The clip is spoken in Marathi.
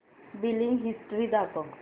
बिलिंग हिस्टरी दाखव